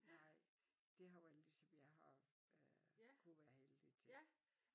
Nej det har været lige som jeg har øh kunne være heldigt ja